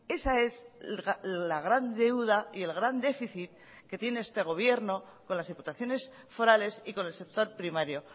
esa es la gran deuda y el gran déficit que tiene este gobierno con las diputaciones forales y con el sector primario